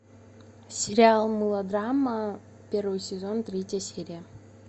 сериал мылодрама первый сезон третья серия